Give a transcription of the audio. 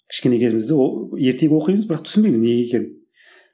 кішкентай кезімізде ол ертегі оқимыз бірақ түсінбейміз неге екенін